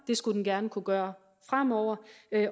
det skulle den gerne kunne gøre fremover